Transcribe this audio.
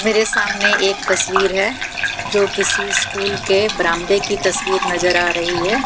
मेरे सामने एक तस्वीर है जो किसी स्कूल के बरामदे की तस्वीर नजर आ रही है।